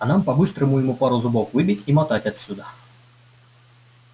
а нам бы по-быстрому ему пару зубов выбить и мотать отсюда